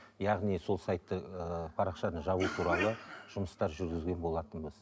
яғни сол сайтты ыыы парақшаны жабу туралы жұмыстар жүргізген болатынбыз